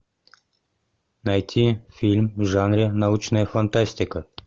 найти фильм в жанре научная фантастика